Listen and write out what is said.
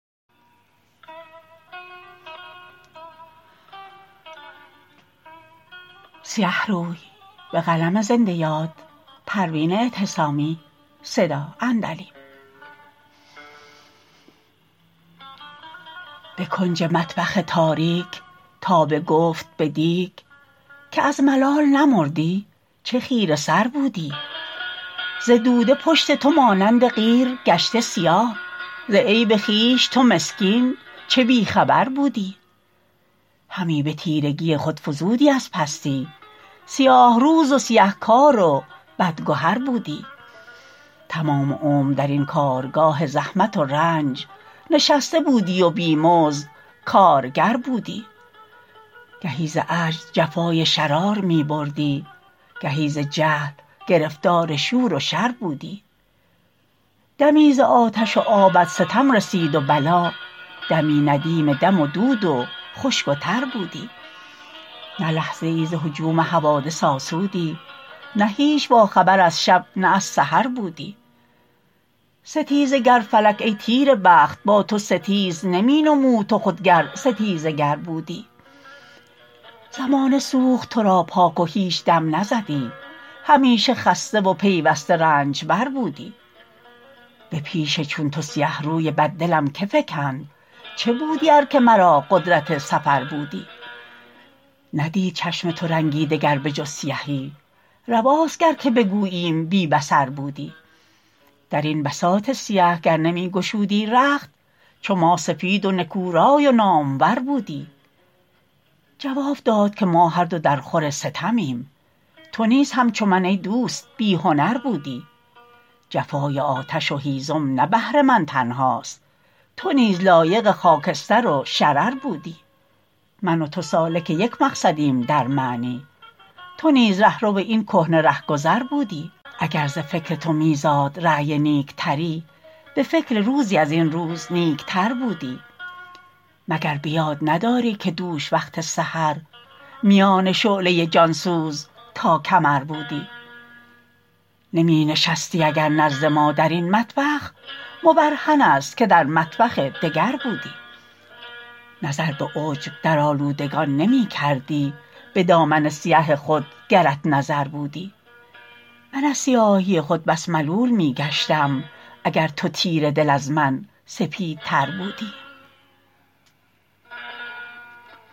بکنج مطبخ تاریک تابه گفت به دیگ که از ملال نمردی چه خیره سر بودی ز دوده پشت تو مانند قیر گشته سیاه ز عیب خویش تو مسکین چه بیخبر بودی همی به تیرگی خود فزودی از پستی سیاه روز و سیه کار و بد گهر بودی تمام عمر درین کارگاه زحمت و رنج نشسته بودی و بیمزد کارگر بودی گهی ز عجز جفای شرار میبردی گهی ز جهل گرفتار شور و شر بودی دمی ز آتش و آبت ستم رسید و بلا دمی ندیم دم و دود و خشک و تر بودی نه لحظه ای ز هجوم حوادث آسودی نه هیچ با خبر از شب نه از سحر بودی ستیزه گر فلک ای تیره بخت با تو ستیز نمینمود تو خود گر ستیزه گر بودی زمانه سوخت ترا پاک و هیچ دم نزدی همیشه خسته و پیوسته رنجبر بودی به پیش چون تو سیه روی بد دلم که فکند چه بودی ار که مرا قدرت سفر بودی ندید چشم تو رنگی دگر به جز سیهی رواست گر که بگوییم بی بصر بودی درین بساط سیه گر نمیگشودی رخت چو ما سفید و نکو رای و نامور بودی جواب داد که ما هر دو در خور ستمیم تو نیز همچو من ایدوست بیهنر بودی جفای آتش و هیزم نه بهر من تنهاست تو نیز لایق خاکستر و شرر بودی من و تو سالک یک مقصدیم در معنی تو نیز رهرو این کهنه رهگذر بودی اگر ز فکر تو میزاد رای نیک تری بفکر روزی ازین روز نیکتر بودی مگر بیاد نداری که دوش وقت سحر میان شعله جانسوز تا کمر بودی نمی نشستی اگر نزد ما درین مطبخ مبرهن است که در مطبخ دگر بودی نظر به عجب در آلودگان نیمکردی بدامن سیه خود گرت نظر بودی من از سیاهی خود بس ملول میگشتم اگر تو تیره دل از من سپیدتر بودی